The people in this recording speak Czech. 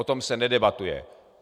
O tom se nedebatuje.